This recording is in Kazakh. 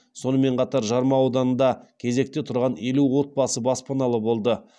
сонымен қатар жарма ауданында кезекте тұрған елу отбасы баспаналы болды